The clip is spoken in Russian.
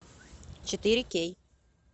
четыре кей